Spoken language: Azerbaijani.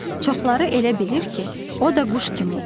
Çoxları elə bilir ki, o da quş kimi oxuyur.